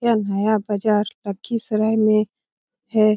यह नया बजार लखीसराय में है ।